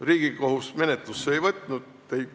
Riigikohus asja menetlusse ei võtnud.